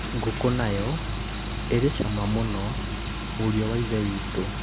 ngũkũ nayo ĩrĩ cama mũno mũrĩũ wa ithe witũ